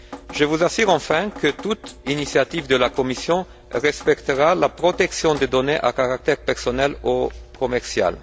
Je vous assure enfin que toute initiative de la Commission respectera la protection des données à caractère personnel ou commercial.